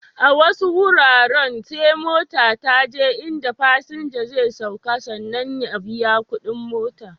A wasu wuraren sai mota ta je in da fasinja zai sauka sannan ya biya kuɗin mota.